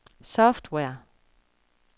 software